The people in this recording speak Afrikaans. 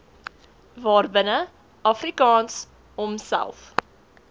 waarbinne afrikaans homself